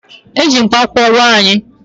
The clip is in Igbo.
E ji mkpakwụkwọ gwọọ anyị